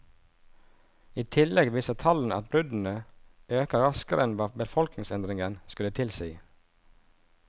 I tillegg viser tallene at bruddene øker raskere enn hva befolkningsendringen skulle tilsi.